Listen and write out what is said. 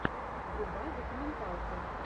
врубай документалку